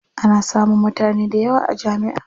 Ana samun mutane dayawa a jami'a.